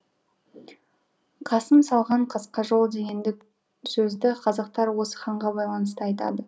қасым салған қасқа жол дегенді сөзді қазақтар осы ханға байланысты айтады